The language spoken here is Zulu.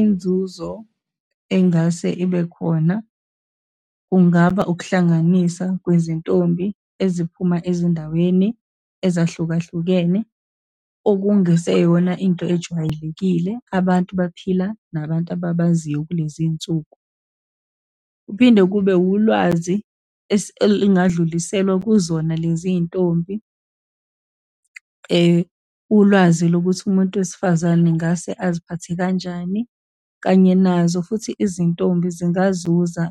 Inzuzo engase ibe khona, kungaba ukuhlanganisa kwezintombi eziphuma ezindaweni ezahlukahlukene, okungeseyona into ejwayelekile. Abantu baphila nabantu ababaziyo kulezi iy'nsuku. Kuphinde kube wulwazi elingadluliselwa kuzona lezi y'ntombi, ulwazi lokuthi umuntu wesifazane ngase aziphathe kanjani, kanye nazo futhi izintombi zingazuza